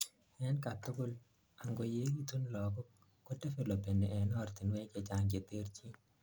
en katugul: angoyegitun lagok, kodevelopeni en ortinwek chechang cheterchin